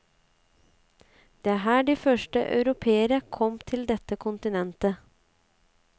Det er her de første europeere kom til dette kontinentet.